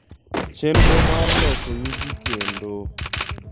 Chenro mar loso yugi kendo.